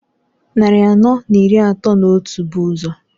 Nnari anọọ n'iri atọọ n'otu bu ụzọ.